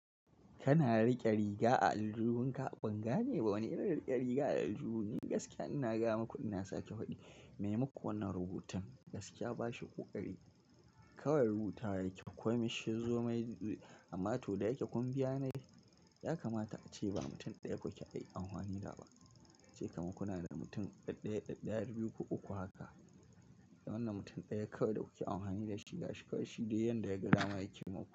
Kana riƙe riga a aljihunka, ban gane ba wane irin riƙe riga a aljihun ne gaskiya. Ina ga maku ina sake faɗi, me muka wannan rubutun? Gaskiya ba shi ƙoƙari. Kawai rubuta yake, komai shizo mai, amma to da yake kun biya na yi, ya kamata ace ba mutum ɗaya kuke aiki an hani da ba. Ce maka kuna da mutum ɗaya, ɗaya, biyu ko uku haka. Wannan mutum ɗaya kawai da kuke an hani da shi, gashi kawai shi da yadda ya gadama yake muku.